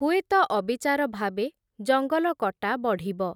ହୁଏତ ଅବିଚାର ଭାବେ ଜଙ୍ଗଲ କଟା ବଢ଼ିବ ।